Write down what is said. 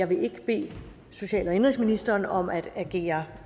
vil ikke bede social og indenrigsministeren om at agere